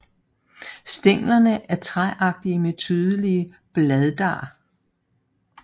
Stænglerne er træagtige med tydelige bladar